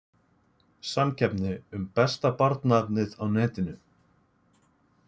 Samkeppni um besta barnaefnið á netinu